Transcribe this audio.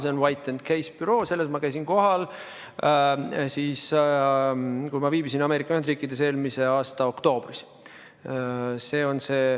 See on White & Case büroo, kus ma käisin kohal, kui viibisin eelmise aasta oktoobris Ameerika Ühendriikides.